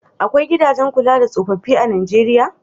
Akwai gidajen kula da tsofaffi a Nijeriya?